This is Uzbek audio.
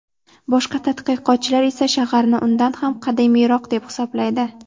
Boshqa tadqiqotchilar esa shaharni undan ham qadimiyroq deb hisoblaydi.